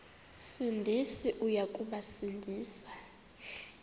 sindisi uya kubasindisa